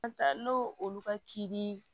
An taa n'o olu ka ci